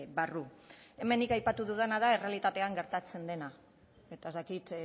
barru hemen nik aipatu dudana da errealitatean gertatzen dena eta ez dakit